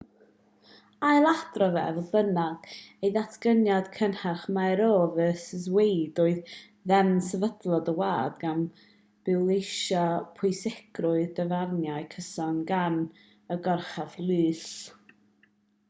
ailadroddodd e fodd bynnag ei ddatganiad cynharach mai roe v wade oedd deddf sefydlog y wlad gan bwysleisio pwysigrwydd dyfarniadau cyson gan y goruchaf lys